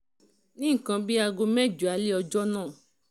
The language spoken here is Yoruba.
d ní nǹkan bíi aago mẹ́jọ alẹ́ ọjọ́ náà